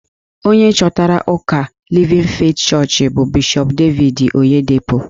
Onye chọpụtara ụka Livin Feeti Chọọchị bụ Bishọp Devid Oyedepo.